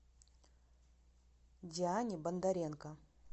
диане бондаренко